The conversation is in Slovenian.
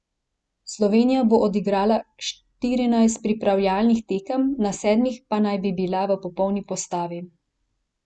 Slovenija bo odigrala štirinajst pripravljalnih tekem, na sedmih pa naj bi bila v popolni postavi.